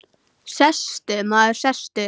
Sestu, maður, sestu.